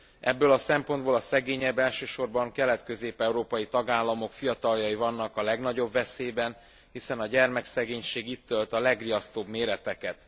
Ebből a szempontból a szegényebb, elsősorban kelet közép európai tagállamok fiataljai vannak a legnagyobb veszélyben, hiszen a gyermekszegénység itt ölt a legriasztóbb méreteket.